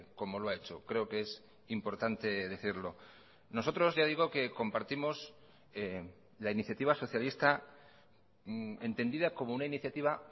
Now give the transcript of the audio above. como lo ha hecho creo que es importante decirlo nosotros ya digo que compartimos la iniciativa socialista entendida como una iniciativa